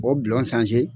O bilon san see